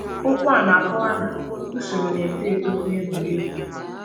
Okwu a na-akọwa usoro na-eto eto n’egwuregwu.